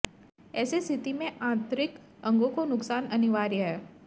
ऐसी स्थिति में आंतरिक अंगों को नुकसान अनिवार्य है